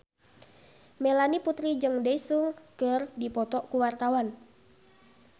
Melanie Putri jeung Daesung keur dipoto ku wartawan